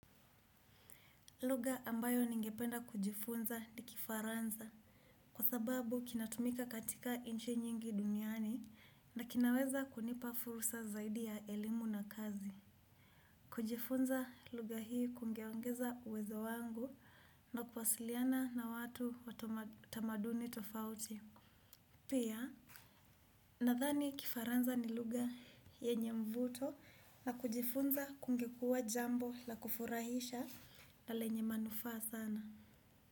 Lugha ambayo ningependa kujifunza ni kifaransa kwa sababu kinatumika katika nchi nyingi duniani na kinaweza kunipa fursa zaidi ya elimu na kazi. Kujifunza lugha hii kungeongeza uwezo wangu na kuwasiliana na watu wa tamaduni tofauti. Pia, nadhani kifaransa ni lugha yenye mvuto na kujifunza kungekua jambo la kufurahisha na lenye manufaa sana.